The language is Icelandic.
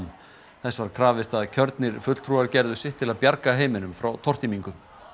þess var krafist að kjörnir fulltrúar gerðu sitt til að bjarga heiminum frá tortímingu